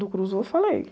Do, eu falei.